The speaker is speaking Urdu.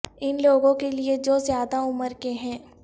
ان لوگوں کے لئے جو زیادہ عمر کے ہیں